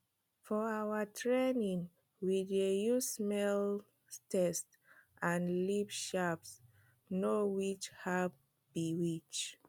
for our training we dey use smell taste and leaf shape know which herb be which